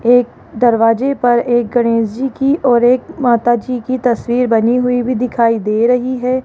एक दरवाजे पर एक गणेश जी की और एक माता जी की तस्वीर बनी हुई भी दिखाई दे रही है।